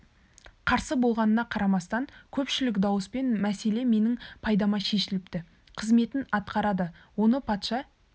қарсы болғанына қарамастан көпшілік дауыспен мәселе менің пайдама шешіліпті қызметін атқарады оны патша